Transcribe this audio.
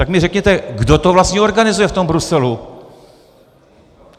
Tak mi řekněte, kdo to vlastně organizuje v tom Bruselu.